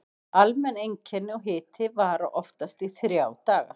Almenn einkenni og hiti vara oftast í þrjá daga.